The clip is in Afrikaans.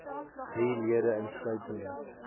drie lede insluitende